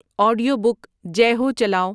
audio book Jai Ho چلاؤ